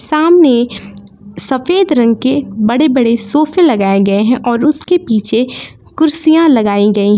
सामने सफेद रंग के बड़े बड़े सोफा ए लगाए गए हैं और उसके पीछे कुर्सियां लगाई गई हैं।